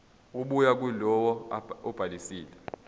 ebuya kulowo obhalisile